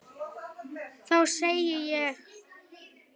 Þá segði ég: